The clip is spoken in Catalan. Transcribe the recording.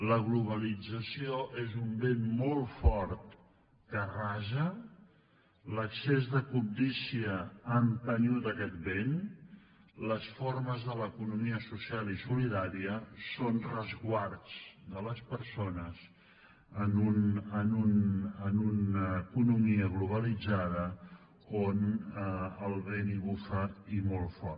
la globalització és un vent molt fort que arrasa l’excés de cobdícia ha empès aquest vent les formes de l’economia social i solidària són resguards de les persones en una economia globalitzada on el vent bufa i molt fort